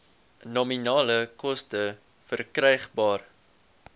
nominale koste verkrygbaar